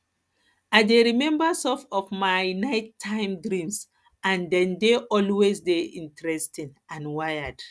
i dey remember some of my nighttime dreams and dem dey always dey interesting and weird